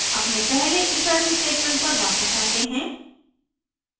अपने पहले ifelse statement पर वापस आते हैं